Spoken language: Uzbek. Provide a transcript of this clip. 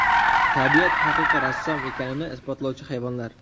Tabiat haqiqiy rassom ekanini isbotlovchi hayvonlar .